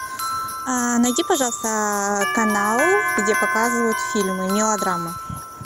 найди пожалуйста канал где показывают фильмы мелодрамы